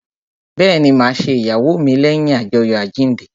Bẹẹni, ma ṣe ìyàwó mi leyin ajoyo àjíǹde